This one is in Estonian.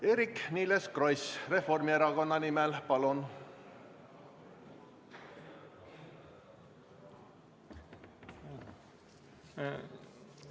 Eerik-Niiles Kross Reformierakonna fraktsiooni nimel, palun!